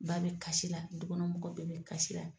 Ba bɛ kasi la du kɔnɔ mɔgɔ bɛɛ bɛ kasi la.